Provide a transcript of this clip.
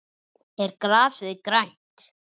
Er grasið grænt?